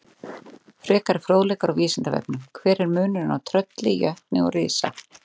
Frekari fróðleikur á Vísindavefnum: Hver er munurinn á trölli, jötni og risa?